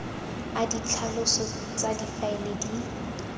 a ditlhaloso tsa difaele di